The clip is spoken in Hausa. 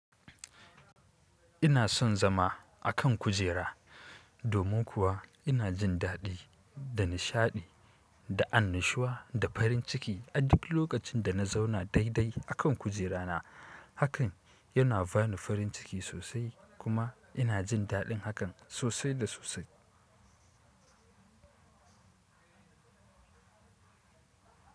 Ina son zama a kan kujera, domin kuwa ina jin daɗi da nishaɗi da annushuwa da farin ciki a duk lokacin da na zauna daidai a kan kujerana. Hakan yana bani farin ciki sosai kuma ina jin daɗin hakan sosai da sosai.